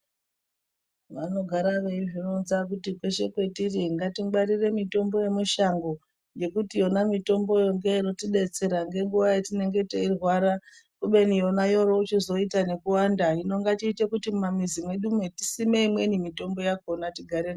Vanogara veizvi ronza kuti kweshe kwetiri ngati ngwarire mitombo ye mushango ngekuti yona mitomboyo ndo inoti detsera nge nguva yatinenge tichi rwara kubeni yona yori yochizoita nekuwanda hino ngatiete kuti muma mizi mwedumwo tisime imweni mitombo yakona tigare nayo.